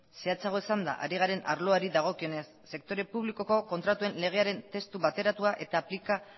zehatzago esanda ari garen arloari dagokionez sektore publikoko kontratuen legearen testu bateratua eta aplika